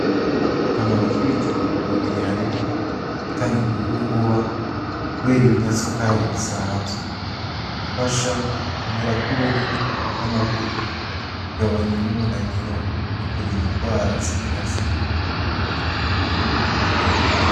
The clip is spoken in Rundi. Akamaro k’ibijumbu ku mubiri harimwo gutanga inguvu vuba kubera ibinyasukari bisanzwe, gufasha gukomera kw’uruhu n’amagufa, kugabanya n’umunaniro no kurinda indwara zimwe na zimwe.